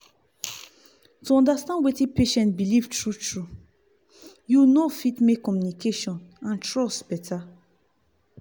to understand wetin patient believe true true you know fit make communication and trust better.